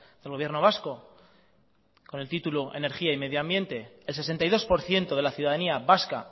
del gobierno vasco con el título energía y medio ambiente el sesenta y dos por ciento de la ciudadanía vasca